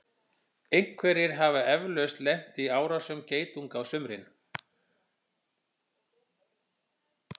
einhverjir hafa eflaust lent í árásum geitunga á sumrin